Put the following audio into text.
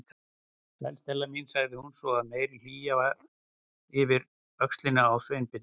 Sæl, Stella mín- sagði hún svo af meiri hlýju yfir öxlina á Sveinbirni.